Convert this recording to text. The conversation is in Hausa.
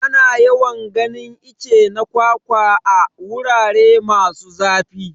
Ana yawan ganin itace na kwakwa a. wurare masu zafi.